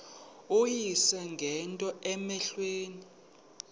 uyise ngento cmehleleyo